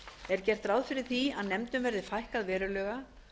er gert ráð fyrir því að nefndum verði fækkað verulega